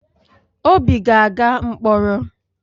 Obi ga-aga mkpọrọ?